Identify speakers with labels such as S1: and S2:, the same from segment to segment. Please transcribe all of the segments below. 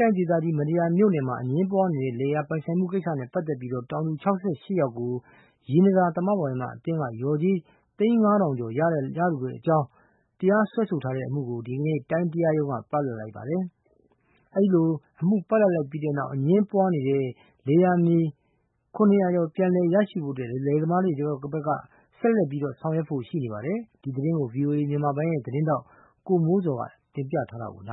S1: တိုင်းဒေသကြီး မတ္တရာမြို့နယ်မှာ အငြင်းပွားနေတဲ့ လယ်ယာပိုင်ဆိုင်မှု ကိစ္စနဲ့ပတ်သက်ပြီး တောင်သူူ ၆၈ယောက်ကို ရေနံသာ သမဝါယမ အသင်းက လျော်ကြေး သိန်း ၅ထောင်ကျော် ရလိုကြောင်း တရားစွဲဆိုထားတဲ့အမှုကို ဒီကနေ့ တိုင်းတရားက ပလပ်လိုက်ပါတယ်။ ဒီလို အမှုပလပ်လိုက်တဲ့နောက် အငြင်းပွားနေတဲ့ လယ်ယာမြေ ၇၀၀ ကျော်ပြန်လည် ရရှိဖို့ လယ်သမားတွေဘက်က ဆက်လက်ဆောင်ရွက် ဖို့ရှိနေပါတယ်။ ဒီသတင်းကိုတော့ ဗွီအိုအေမြန်မာပိုင်းရဲ့ သတင်းထောက် ကိုမိုးဇော်က တင်ပြထားပါတ
S2: ယ်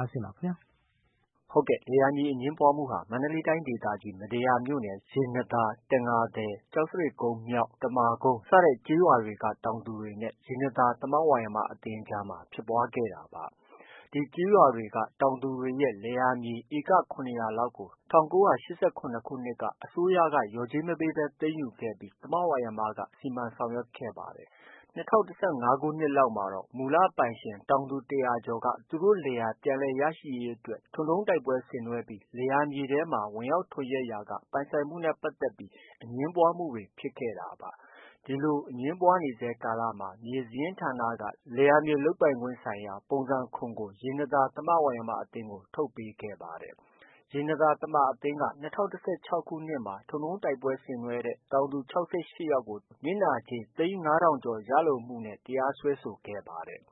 S2: ။ လယ်ယာမြေအငြင်းပွားမှုဟာ မန္တလေးတိုင်းဒေသကြီး မတ္တရာမြို့နယ် ရေနံသာ၊ တံငါသည်၊ ကျောက်စရစ်ကုန်း မြောက်၊ တမာကုန်း စတဲ့ ကျေးရွာက တောင်သူတွေနဲ့ ရေနံသာ သမဝါယမအသင်း အကြားဖြစ်ပွားခဲ့တာဖြစ်ပါတယ်။ ဒီကျေးရွာက တောင်သူတွေရဲ့ လယ်ယာမြေ ဧက ၇၀၀ လောက်ကို ၁၉၈၇ ခုနှစ်လောက် က အစိုးရ လျော်ကြေးမပေးဘဲ သိမ်းယူခဲ့ပြီး သမဝါယမက စီမံဆောင်ရွက်ခဲ့ပါတယ်။ ၂၀၁၅ ခုနှစ်လောက်မှာတော့ မူလ ပိုင်ရှင်တောင်သူ ၁၀၀ ကျော်က သူတို့ လယ်ယာပြန်လည်ရရှိရေးအတွက် ထွန်တုံးတိုက်ပွဲဆင်နွဲပြီး လယ်မြေတွေထဲမှာ ဝင်ရောက် ထွန်ယက်ရာက ပိုင်ဆိုင်မှုနဲ့ပတ်သက်ပြီး အငြင်းပွားမှုဖြစ်ခဲ့တာပါ။ ဒီလို အငြင်းပွားနေဆဲ ကာလမှာ မြေစာရင်းဌာနက လယ်ယာမြေ လုပ်ပိုင်ခွင်ဆိုင်ရာ ပုံစံ ၇ ရေနံသာ သမဝါယမ အသင်းကို ထုတ်ပေးခဲ့ပါတယ်။ ရေနံသာ သမဝါယမ အသင်းက ၂၀၁၆ခုနှစ်မှာ ထွန်တုံးတိုက်ပွဲဆင်နွဲတဲ့ တောင်သူ ၆၈ ယောက်ကို တရားစွဲပြီး နစ်နာကြေး သိန်း ၅ထောင်ကျော် ရလိုမှုနဲ့ တရားစွဲဆိုခဲ့ပါတယ်။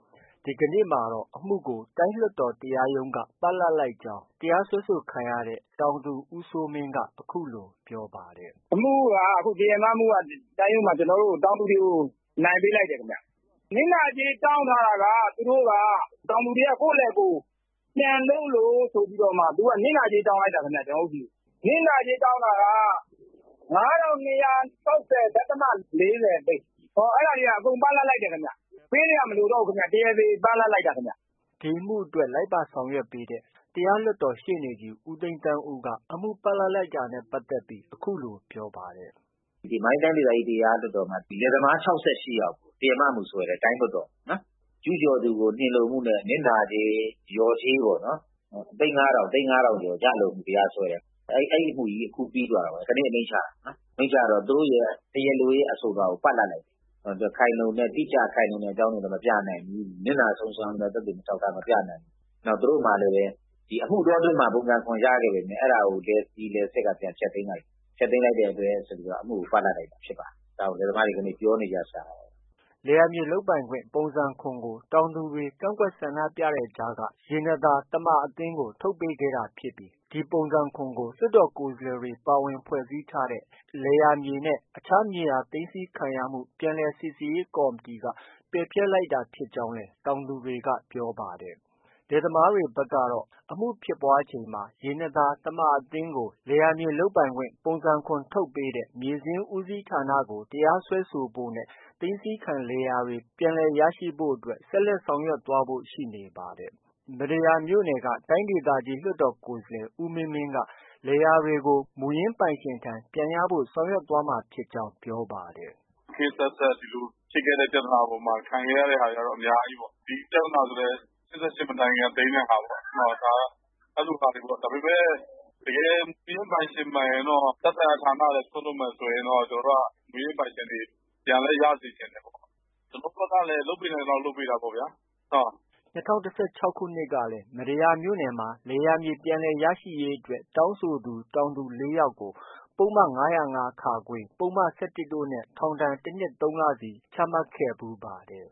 S2: ဒီကနေ့မှာတော့ အမှုကို တိုင်းလွှတ်တော်တရားရုံးက ပလပ်ပေးလိုက်ကြောင်း တရား စွဲဆို ခံရတဲ့ တောင်သူ ဦးစိုးမင်းက အခုလို ပြောပါတယ်။ “ အမှုက တရားမမှုက အခု တောင်သူတွေ တိုင်းရုံးမှာ တောင်သူတွေကို အနိုင်ပေး လိုက်တယ်ခင်ဗျ။ နစ်နာကြေးတောင်းထားတာက တောင်သူတွေက ကိုယ့်လယ် ကိုယ် ပြန်လုပ်လို့ ဆိုပြီးမှ သူတို့က နစ်နာကြေးတောင်းလိုက်တာခင်ဗျ။ နစ်နာကြေးတောင်း တာက ၅ထောင်၂ရာ ၆ဆယ် ဒသမ ၄၀ သိန်း၊ အဲဒါတွေက အကုန် ပလပ် လိုက်တယ်ခင်ဗျ။ ပေးစရာမလိုတော့ဘူးခင်ဗျ။ တရားသေ ပလပ်လိုက်တာခင်ဗျ။” ဒီအမှုကိုအတွက် လိုက်ပါဆောင်ရွက်ပေးတဲ့ တရားလွှတ်တော် ရှေ့နေ ဦးသိန်းသန်းဦးက အမှုပလပ်လိုက်တဲ့ အကြောင်းကို အခုလို ပြောပါတယ်။ “ မန္တ
S3: လေးတိုင်းဒေသကြီး တရားလွှတ်တော်မှာ ဒီလယ်သမား ၆၈ယောက်ကို တရားမမှု စွဲတယ်။ တိုင်းလွှတ်တော်မှာ ကျူးကျော်သူကို နှင်လိုမှုနဲ့ နစ်နာကြေး လျော်ကြေးပေါ့နော် သိန်း ၅ထောင်ကျော် ရလိုမှုနဲ့ တရားစွဲတယ်။ အဲဒီအမှုကြီး အခုပြီးသွားတာ ဒီနေ့ အမိန့်ချတယ်။ အမိန့်ချတော့ တရားလိုရဲ့ အဆိုလွှာကို ပလပ်လိုက်တယ်။ တိကျခိုင်လုံတဲ့ အကြောင်းတွေလည်း မပြနိုင်ဘူး။ နစ်နာဆုံးရှုံးရတဲ့ သက်သေအထောက် အထား မပြနိုင်ဘူး။ သူတို့မှာလည်း အမှုတွဲအတွင်းမှာ ပုံစံ ၇ ရခဲ့ပေမဲ့ အဲဒါကို လယ်စီ၊ လယ်စစ်က ပြန်ဖျက်သိမ်းလိုက်တယ်။ ဖျက်သိမ်းလိုက်တဲ့အတွက်ဆိုပြီး အမှုကို ပလပ် လိုက်တယ်။
S2: ” လယ်ယာမြေလုပ်ပိုင်ခွင့် ပုံစံ ၇ ကို တောင်သူတွေ ကန့်ကွက်ဆန္ဒပြတဲ့ကြားက ရေနံသာ သမဝါယမအသင်းကို ထုတ်ပေးခဲ့တာဖြစ်ပြီး ဒီပုံစံ ၇ ကို လွှတ်တော်ကိုယ်စားလှယ်တွေ ပါဝင်ဖွဲ့စည်းထားတဲ့ လယ်ယာမြေနဲ့ အခြား မြေတွေ၊ သိမ်းဆည်းခံရမှု ပြန်လည်စိစစ်ရေး ကော်မတီက ပယ်ဖျက်လိုက်တာ ဖြစ်ကြောင်းလည်း တောင်သူတွေက ပြောပါတယ်။ လယ်သမားတွေဘက်ကတော့ အမှုဖြစ်ပွားချိန်မှာ ရေနံသာ သမဝါယမအသင်းကို လယ်ယာမြေ လုပ်ပိုင်ခွင့် ပုံစံ ၇ ထုတ်ပေးတဲ့ မြေစာရင်း ဦးစီးဌာနကို တရားစွဲဖို့နဲ့ သိမ်းဆည်းခံလယ်ယာတွေ ပြန်ရဖို့ အတွက် ဆက်လက်ဆောင်ရွက်သွားဖို့ ရှိနေပါတယ်။ မတ္တရာမြို့နယ်က တိုင်းဒေသကြီးလွှတ်တော်ကိုယ်စားလှယ် ဦးမင်းမင်းက လယ်ယာတွေကို မူရင်းပိုင်ရှင်ထံ ပြန်ရဖို့ ဆောင်ရွက်သွားမှာဖြစ်ကြောင်း ပြောပါတ
S3: ယ်။ “ ခေတ်အဆက်ဆက် ဒီလို ဖြစ်ခဲ့တဲ့ပြဿနာတွေမှာ ခံခဲ့ရတာတွေကတော့ အများကြီးပေါ့။ ဒီပြဿနာဆိုလည်း ၈၈ မတိုင်ခင်က သိမ်းတဲ့ပြဿနာပေါ့။ အဲလို ဟာတွေပေါ့။ ဒါပေမဲ့ တကယ် မူရင်းပိုင်ရှင်မှန်ရင်တော့ သက်ဆိုင်ရာ ဌာနကလည်း စွန့်လွှတ်မယ်ဆိုရင်တော့ ကျနော်တို့က မူရင်းပိုင်ရှင်တွေ ပြန်လည်း ရစေချင်တယ်။ ကျနေ်ာတို့ဘက်ကလည်း လုပ်ပေးနိုင်သလောက် လုပ်ပေးတာပေါ့ဗျာ။” ၂
S2: ၀၁၆ ခုနှစ်ကလည်း မတ္တရာမြို့နယ်မှာ လယ်ယာမြေပြန်လည်ရရှိရေးအတွက် တောင်းဆိုသူ တောင်သူ ၄ယောက်ကို ပုဒ်မ ၅၀၅ ၊ ပုဒ်မ ၁၁ တို့နဲ့ ထောင် ၁ နှစ် ၃လ စီ ချမှတ်ခဲ့ဖူးပါတယ်